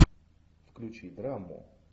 включи драму